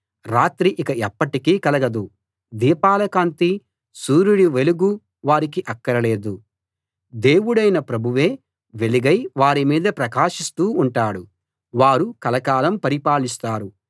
రాత్రి ఇక ఎప్పటికీ కలగదు దీపాల కాంతీ సూర్యుడి వెలుగూ వారికి అక్కర లేదు దేవుడైన ప్రభువే వెలుగై వారిమీద ప్రకాశిస్తూ ఉంటాడు వారు కలకాలం పరిపాలిస్తారు